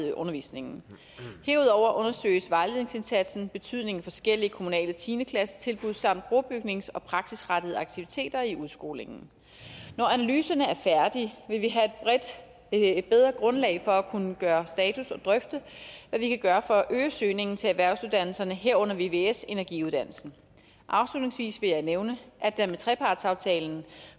i undervisningen herudover undersøges vejledningsindsatsens betydning for forskellige kommunale tiende klassetilbud samt brobygnings og praksisrettede aktiviteter i udskolingen når analyserne er færdige vil vi have et bedre grundlag for at kunne gøre status og drøfte hvad vi kan gøre for at øge søgningen til erhvervsuddannelserne herunder vvs energiuddannelsen afslutningsvis vil jeg nævne at der med trepartsaftalen